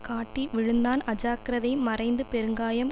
காட்டி விழுந்தான் அஜாக்கிரதை மறைந்து பெருங்காயம்